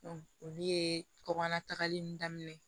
olu ye kɔkan tagali daminɛ